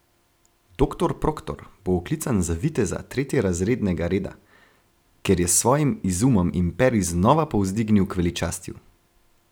Doktor Proktor bo oklican za viteza tretjerazrednega reda, ker je s svojim izumom imperij znova povzdignil k veličastju.